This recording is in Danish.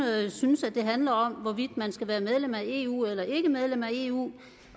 synes at det handler om hvorvidt man skal være medlem af eu eller ikke medlem af eu